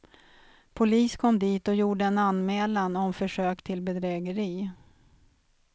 Polis kom dit och gjorde en anmälan om försök till bedrägeri.